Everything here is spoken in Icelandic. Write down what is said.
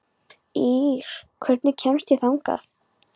Ýrr, hvernig kemst ég þangað?